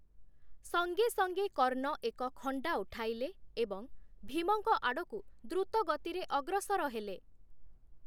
ସଙ୍ଗେ ସଙ୍ଗେ କର୍ଣ୍ଣ ଏକ ଖଣ୍ଡା ଉଠାଇଲେ ଏବଂ ଭୀମଙ୍କ ଆଡ଼କୁ ଦ୍ରୁତଗତିରେ ଅଗ୍ରସର ହେଲେ ।